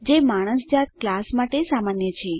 જે માણસ જાત ક્લાસ માટે સામાન્ય છે